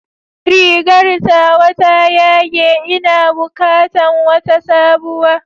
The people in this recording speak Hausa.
Rigar tawa ta yage, ina bukatan wata sabuwa.